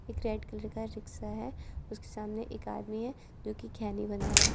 एक red colour का rickshaw है उसके सामने एक आदमी है जो की खैनी बना रहा है।